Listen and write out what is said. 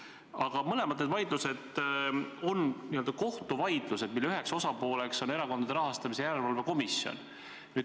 Aga need mõlemad vaidlused on kohtuvaidlused, mille üks osapool on Erakondade Rahastamise Järelevalve Komisjon.